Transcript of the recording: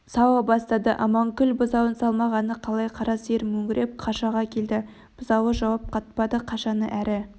сауа бастады аманкүлдің бұзауын салмағаны қалай қара сиыр мөңіреп қашаға келді бұзауы жауап қатпады қашаны әрі